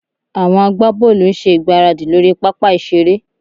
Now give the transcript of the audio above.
Àwọn agbábọ́ọ̀lù ń ṣe ìgbáradì lórí pápá ìṣeré